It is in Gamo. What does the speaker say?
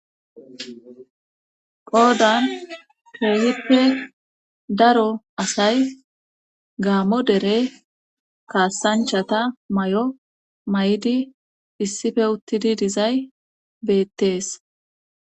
Qoodan peehippe daro asay gaamo dere kaasanchata may7o may7di issife uttidi dizay beettees